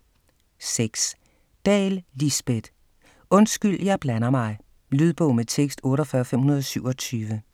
6. Dahl, Lisbet: Undskyld, jeg blander mig Lydbog med tekst 48527